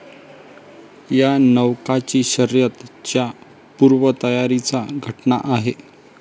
या नौकांची शर्यत च्या पूर्वतयारीचा घटना आहे.